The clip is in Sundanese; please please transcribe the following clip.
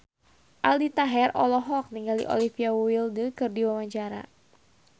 Aldi Taher olohok ningali Olivia Wilde keur diwawancara